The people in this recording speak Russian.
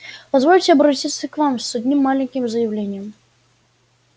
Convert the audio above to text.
позвольте обратиться к вам с одним маленьким заявлением